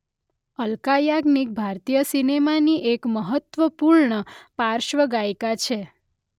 અલકા યાજ્ઞિક ભારતીય સિનેમાની એક મહત્વપૂર્ણ પાર્શ્વગાયિકા છે.